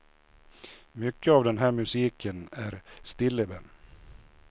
Mycket av den här musiken är stilleben.